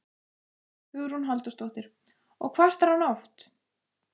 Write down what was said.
Hugrún Halldórsdóttir: Og kvartar hann oft?